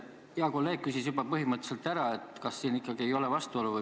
Hea kolleeg küsis juba põhimõtteliselt ära, kas siin ikkagi ei ole vastuolu.